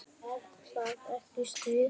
Er það ekki stuð?